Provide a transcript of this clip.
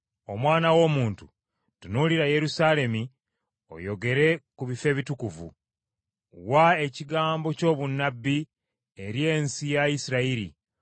“Omwana w’omuntu tunuulira Yerusaalemi oyogere ku bifo ebitukuvu. Wa ekigambo ky’obunnabbi eri ensi ya Isirayiri,